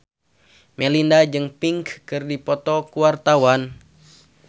Melinda jeung Pink keur dipoto ku wartawan